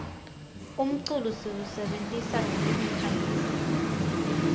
umculo siwusebentisa kwetekukhangisa